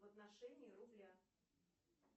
в отношении рубля